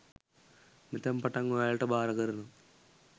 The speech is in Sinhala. මෙතැන් පටන් ඔයාලට භාර කරනවා